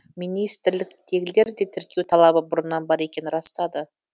министрліктегілер де тіркеу талабы бұрыннан бар екенін растады